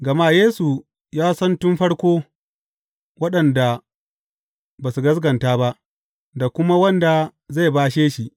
Gama Yesu ya sani tun farko, waɗanda ba su gaskata ba, da kuma wanda zai bashe shi.